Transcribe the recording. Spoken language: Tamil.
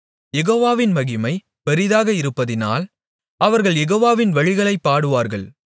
யெகோவாவின் மகிமை பெரிதாக இருப்பதினால் அவர்கள் யெகோவாவின் வழிகளைப் பாடுவார்கள்